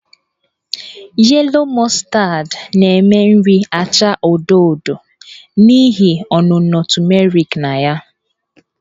Yellow Mustard na-eme nri achaa odo odo n'ihi ọnụnọ tumeriki na ya.